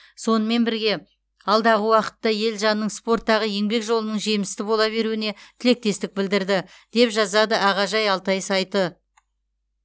сонымен бірге алдағы уақытта елжанның спорттағы еңбек жолының жемісті бола беруіне тілектестік білдірді деп жазады ағажай алтай сайты